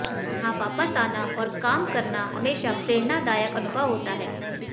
यहां वापस आना और काम करना हमेशा प्रेरणादायक अनुभव होता है